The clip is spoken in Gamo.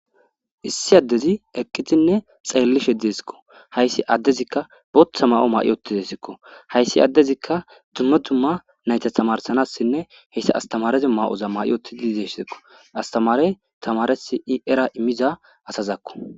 Issi addezi eqqitinne xeellishe diesekko hayssi addezikka bootha ma7o maa7i otidesekko hayssi addezikka dumma dumma nayta tamarsanassinne heyssa astamarezi maa7oza ma7i otididessekko astamare tamaresi i era imiza asazakko.